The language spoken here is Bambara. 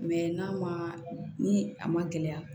n'a ma ni a ma gɛlɛya